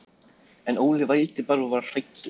En Óli vældi bara og var hræddur.